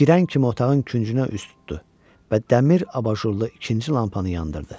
Girən kimi otağın küncünə üz tutdu və dəmir abajurlu ikinci lampanı yandırdı.